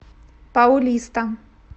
паулиста